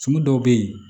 Tumu dɔw bɛ yen